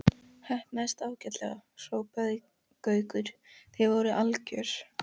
Heppnaðist ágætlega hrópaði Gaukur, þið voruð algjört.